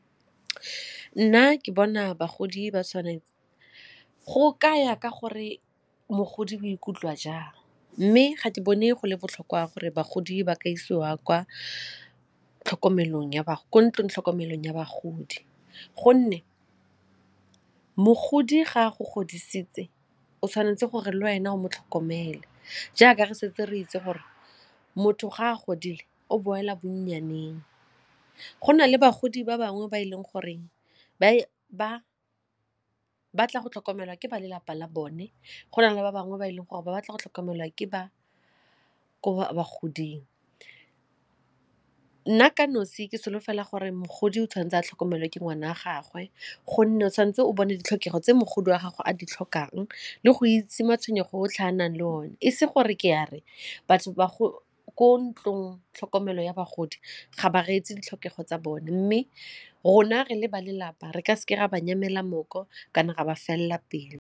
Nna ke bona bagodi ba tshwanetse, go kaya ka gore mogodi bo ikutlwa jang mme ga ke bone go le botlhokwa gore bagodi ba ka isiwa kwa ka tlhokomelong ya kwa tlhokomelong ya bagodi gonne mogodi ga a go godisitse o tshwanetse gore le wena o mo tlhokomele jaaka re setse re itse gore motho ga a godile o boela bonnyaneng. Go na le bagodi ba bangwe ba e leng goreng ba ba batla go tlhokomelwa ke ba lelapa la bone go na le ba bangwe ba e leng gore ba batla go tlhokomelwa ke ba ko bagoding. Nna ka nosi ke solofela gore mogodi o tshwanetse a tlhokomelwa ke ngwana wa gagwe gonne o tshwanetse o bone ditlhokego tse mogolo wa gago a di tlhokang le go itse matshwenyego otlhe a a nang le o ne e se gore ke ya re batho ba go ko ntlong tlhokomelo ya bagodi ga ba re etse ditlhokego tsa bone mme rona re le ba lelapa re ka se ke ra ba nyamela mooko kana re a ba felela pelo.